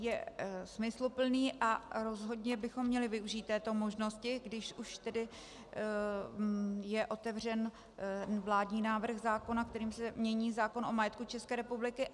Je smysluplný a rozhodně bychom měli využít této možnosti, když už tedy je otevřen vládní návrh zákona, kterým se mění zákon o majetku České republiky.